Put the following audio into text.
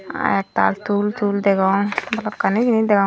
aa ektal took tool degong balokkani jinij degong.